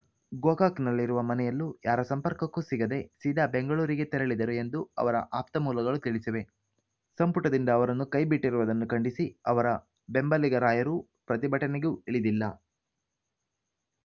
ಗೋಕಾಕ್‌ನಲ್ಲಿರುವ ಮನೆಯಲ್ಲೂ ಯಾರ ಸಂಪರ್ಕಕ್ಕೂ ಸಿಗದೆ ಸೀದಾ ಬೆಂಗಳೂರಿಗೆ ತೆರಳಿದರು ಎಂದು ಅವರ ಆಪ್ತಮೂಲಗಳು ತಿಳಿಸಿವೆ ಸಂಪುಟದಿಂದ ಅವರನ್ನು ಕೈಬಿಟ್ಟಿರುವುದನ್ನು ಖಂಡಿಸಿ ಅವರ ಬೆಂಬಲಿಗರಾಯರು ಪ್ರತಿಭಟನೆಗೂ ಇಳಿದಿಲ್ಲ